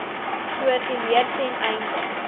koördineer ten einde